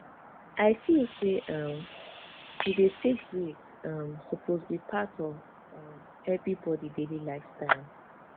i feel say um to dey take break um suppose be part of um everybody daily lifestyle